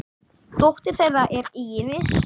Dóttir þeirra er Íris.